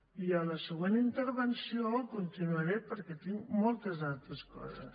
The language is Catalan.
i en la següent intervenció continuaré perquè tinc moltes altres coses